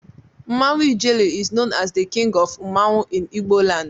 Mmanwụ ijele is known as the king of mmanwụ in igboland